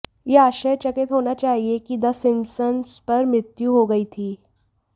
यह आश्चर्यचकित होना चाहिए कि द सिम्पसंस पर मृत्यु हो गई थी